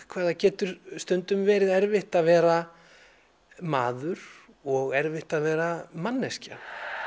hvað það getur stundum verið erfitt að vera maður og erfitt að vera manneskja